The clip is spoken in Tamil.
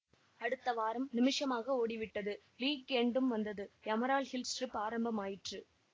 அடுத்த வாரம் நிமிஷமாக ஓடிவிட்டது வீக் எண்ட்டும் வந்தது எமரால்ட் ஹில்ஸ் ட்ரிப் ஆரம்பமாயிற்று